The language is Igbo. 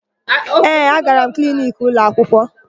Ee, agara m kliniki ụlọakwụkwọ.